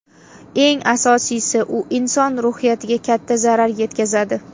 Eng asosiysi, u inson ruhiyatiga katta zarar yetkazadi.